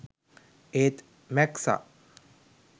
ඒත් මැක්සා